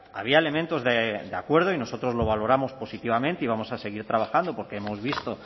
había elementos de acuerdo y nosotros lo valoramos positivamente y vamos a seguir trabajando porque hemos visto